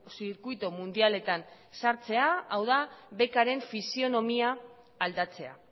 zirkuitu mundialetan sartzea hau da bec aren fisionomia aldatzea